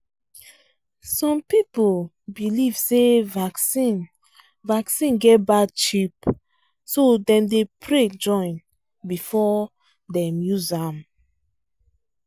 some people believe say vaccine vaccine get bad chip so dem dey pray join before dem use am